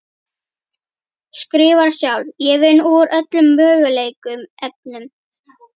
Skrifar sjálf: Ég vinn úr öllum mögulegum efnum.